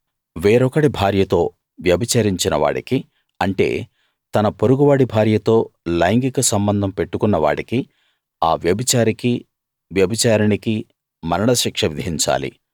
వేరొకడి భార్యతో వ్యభిచరించిన వాడికి అంటే తన పొరుగు వాడి భార్యతో లైంగిక సంబంధం పెట్టుకున్న వాడికిఆ వ్యభిచారికి వ్యభిచారిణికి మరణశిక్ష విధించాలి